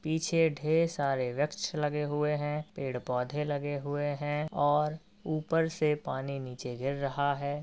पीछे ढेर सारे वृक्ष लगे हुए है पेड़ पौधे लगे हुए है और ऊपर से पानी नीचे गिर रहा है।